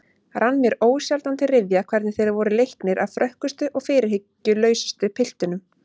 Rann mér ósjaldan til rifja hvernig þeir voru leiknir af frökkustu og fyrirhyggjulausustu piltunum.